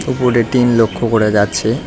উপরে টিন লক্ষ করা যাচ্ছে।